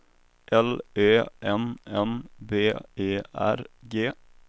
L Ö N N B E R G